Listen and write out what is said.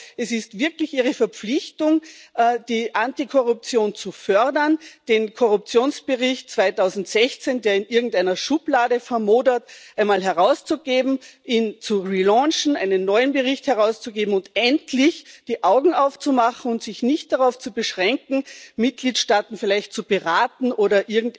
Ich glaube, es ist wirklich Ihre Verpflichtung, die Antikorruption zu fördern, den Korruptionsbericht 2016, der in irgendeiner Schublade vermodert, einmal herauszugeben, ihn zu relaunchen, einen neuen Bericht herauszugeben und endlich die Augen aufzumachen und sich nicht darauf zu beschränken, Mitgliedstaaten vielleicht zu beraten oder